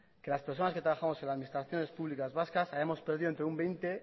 que las personas que trabajamos en la administraciones públicas vasca habremos perdido entre un veinte